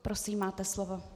Prosím, máte slovo.